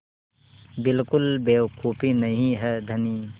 बिल्कुल बेवकूफ़ी नहीं है धनी